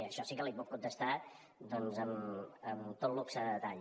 això sí que l’hi puc contestar doncs amb tot luxe de detall